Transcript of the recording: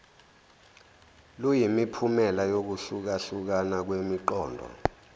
luyimiphumela yokuhlukahlukana kwemiqondo